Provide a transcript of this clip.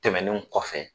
Tɛmɛnen kɔfɛ